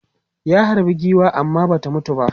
Ya harbe giwan amma ba ta mutu ba.